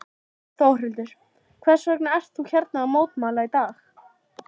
Þórhildur: Hvers vegna ert þú hérna að mótmæla í dag?